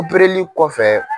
Upereli kɔfɛ